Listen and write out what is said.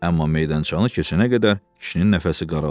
Amma meydançanı keçənə qədər kişinin nəfəsi daraldı.